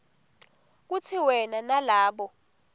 kutsi wena nalabo